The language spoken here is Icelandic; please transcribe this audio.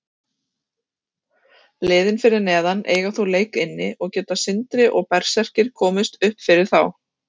Liðin fyrir neðan eiga þó leik inni og geta Sindri og Berserkir komist uppfyrir þá.